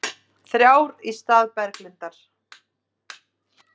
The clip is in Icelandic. Þrjár í stað Berglindar